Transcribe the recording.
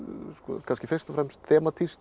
kannski fyrst og fremst